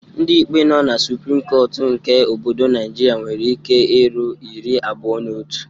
Ndị ikpe nọ na suprim kọtụ nke obodo Naịjirịa nwere ike iru iri abuo na otu.